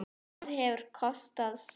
Það hefur kostað sitt.